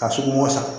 Ka sugu bɔ san